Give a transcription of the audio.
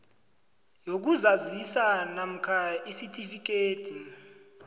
yokuzazisa namkha isitifikhethi